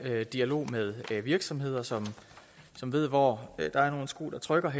dialog med virksomheder som som ved hvor skoen trykker